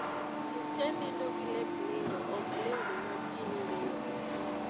Ji te nindo gi lep nindo ok lewni ma ji noriyo go